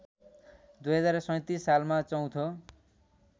२०३७ सालमा चौथो